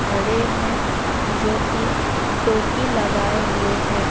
खड़े हैं जो कि टोपी लगाए हुए हैं।